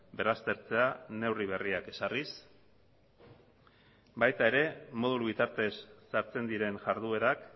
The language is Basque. berraztertzea neurri berriak ezarriz baita ere modulu bitartez sartzen diren jarduerak